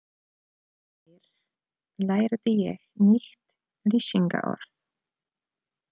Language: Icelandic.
Í gær lærði ég nýtt lýsingarorð.